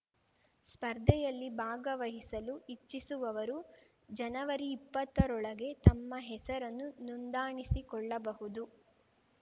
ಸ್ಪರ್ಧೆಯಲ್ಲಿ ಭಾಗವಹಿಸಲು ಇಚ್ಚಿಸುವವರು ಜನವರಿಇಪ್ಪತ್ತರೊಳಗೆ ತಮ್ಮ ಹೆಸರನ್ನು ನೋಂದಾಣಿಸಿಕೊಳ್ಳಬಹುದು